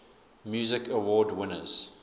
music awards winners